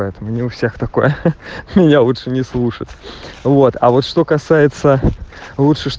не у всех такое я лучше не слушаться вот а вот что касается